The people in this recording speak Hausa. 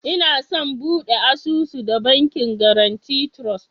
Inason bude asusu da Bankin Guarantee Trust.